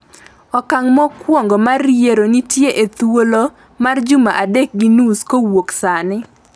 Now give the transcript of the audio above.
okang' mokwongo mar yiero nitie e thuolo mar juma adek gi nus kowuok sani.